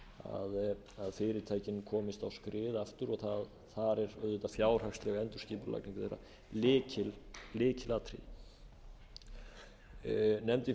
að fyrirtækin komist skrið aftur og þar er auðvitað fjárhagsleg endurskipulagning þeirra lykilatriði nefndin